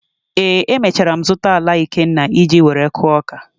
Ee, emechara m zụta ala Ikenna iji were kụọ ọka.